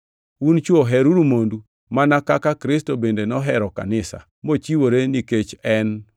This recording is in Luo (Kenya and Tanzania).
Un chwo, heruru mondu, mana kaka Kristo bende nohero kanisa, mochiwore nikech en